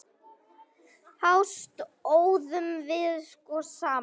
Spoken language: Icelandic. Þá stóðum við sko saman.